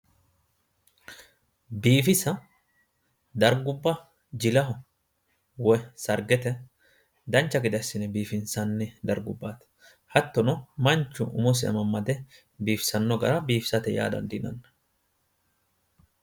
Biifisa dargubba jilaho woyi sargete dancha gede assine biifinsanni dargubbati hattono manchu umosi amamade biifisano gara biifisate yaa dandiinanni